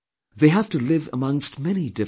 They have to live amongst many different people